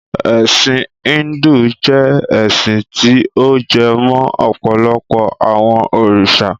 Ẹ̀sin Híndù jẹ́ ẹ́sin ti ó jẹ mó ọ̀pọ̀lọpọ àwọn òrìṣà.